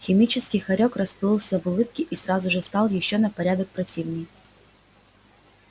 химический хорёк расплылся в улыбке и сразу стал ещё на порядок противнее